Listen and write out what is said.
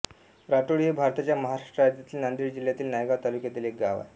राटोळी हे भारताच्या महाराष्ट्र राज्यातील नांदेड जिल्ह्यातील नायगाव तालुक्यातील एक गाव आहे